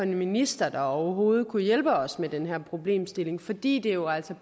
minister der overhovedet kunne hjælpe os med den her problemstilling fordi det jo altså